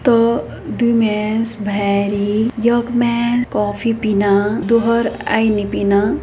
तो द्वी मैस भैरी योक मै कॉफ़ी पीना दुहर अयी नि पीना।